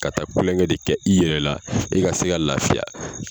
Ka taa Kulonkɛ de kɛ i yɛrɛ la, e ka se ka lafiya.